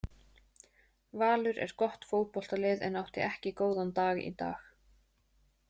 Valur er gott fótboltalið en átti ekki góðan dag í dag.